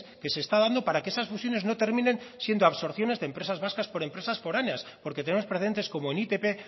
que se está dando para que esas fusiones no terminen siendo absorciones de empresas vascas por empresas foráneas porque tenemos precedentes como en itp